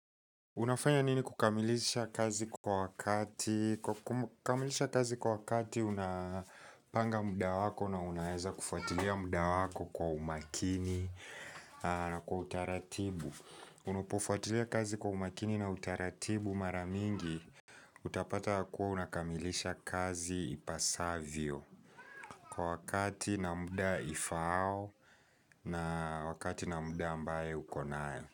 Unafanya nini kukamilisha kazi kwa wakati? Kukamilisha kazi kwa wakati unapanga muda wako na unaeza kufuatilia muda wako kwa umakini. Na kwa utaratibu, unapofuatilia kazi kwa umakini na utaratibu mara mingi utapata yakuwa unakamilisha kazi ipasavyo, kwa wakati na muda ifao na wakati na muda ambaye ukonayo.